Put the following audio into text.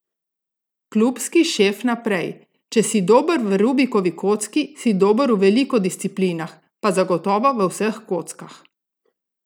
Klubski šef naprej: 'Če si dober v rubikovi kocki, si dober v veliko disciplinah,' pa zagotovo v vseh kockah.